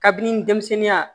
Kabini denmisɛnninya